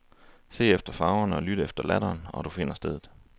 Se efter farverne og lyt efter latteren, og du finder stedet.